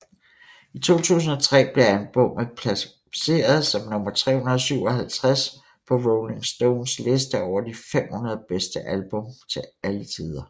I 2003 blev albummet placeret som nummer 357 på Rolling Stones liste over de 500 bedste album til alle tider